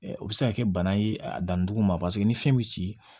O bɛ se ka kɛ bana ye a dannidugu ma paseke ni fiyɛn bɛ ci